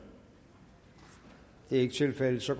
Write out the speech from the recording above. det er ikke tilfældet så